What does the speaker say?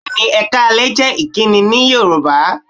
Bẹ́ẹ̀ni, "Ẹ káalẹ́" jẹ́ ìkíni Yorùbá